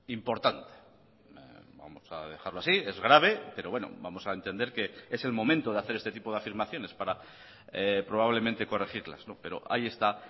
importante vamos a dejarlo así es grave pero bueno vamos a entender que es el momento de hacer este tipo de afirmaciones para probablemente corregirlas pero ahí está